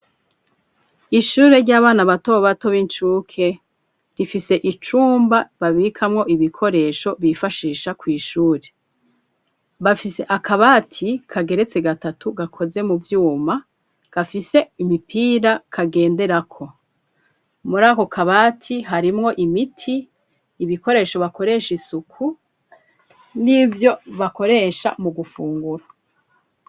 Ishuri ry'abana batobato b'incuke, rifise icumba babikamwo ibikoresho bifashisha kw'ishure, bafise akabati kageretsi gatatu gakoze mu vyuma, gafise imipira kagenderako, muri ako kabati harimwo imiti, ibikoresho bakoresha isuku, n'ivyo bakoresha mu gufungura.